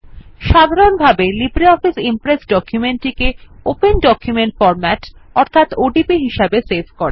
সাধারনভাবে LibreOffice Impress document গুলিকে open document format হিসাবে সেভ করে